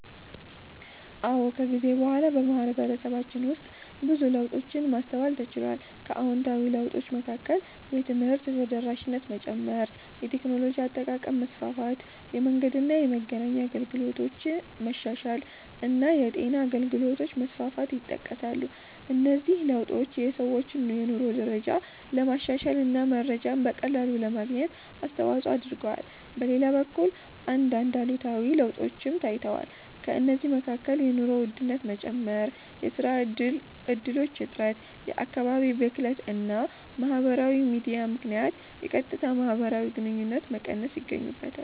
አዎ፣ ከጊዜ በኋላ በማህበረሰባችን ውስጥ ብዙ ለውጦችን ማስተዋል ተችሏል። ከአዎንታዊ ለውጦች መካከል የትምህርት ተደራሽነት መጨመር፣ የቴክኖሎጂ አጠቃቀም መስፋፋት፣ የመንገድና የመገናኛ አገልግሎቶች መሻሻል እና የጤና አገልግሎቶች መስፋፋት ይጠቀሳሉ። እነዚህ ለውጦች የሰዎችን የኑሮ ደረጃ ለማሻሻል እና መረጃን በቀላሉ ለማግኘት አስተዋጽኦ አድርገዋል። በሌላ በኩል አንዳንድ አሉታዊ ለውጦችም ታይተዋል። ከእነዚህ መካከል የኑሮ ውድነት መጨመር፣ የሥራ እድሎች እጥረት፣ የአካባቢ ብክለት እና በማህበራዊ ሚዲያ ምክንያት የቀጥታ ማህበራዊ ግንኙነቶች መቀነስ ይገኙበታል።